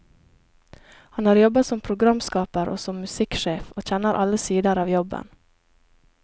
Han har jobbet som programskaper og som musikksjef, og kjenner alle sider av jobben.